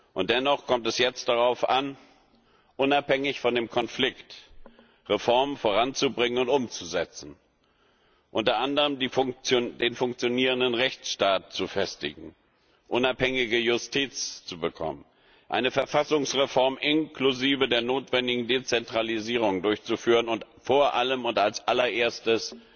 Und dennoch kommt es jetzt darauf an, unabhängig von dem Konflikt Reformen voranzubringen und umzusetzen unter anderem den funktionierenden Rechtsstaat zu festigen, unabhängige Justiz zu bekommen, eine Verfassungsreform inklusive der notwendigen Dezentralisierung durchzuführen und vor allem und als allererstes